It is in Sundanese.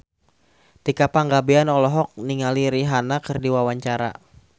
Tika Pangabean olohok ningali Rihanna keur diwawancara